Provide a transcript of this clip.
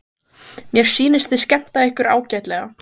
Mér sýnist þið skemmta ykkur ágætlega.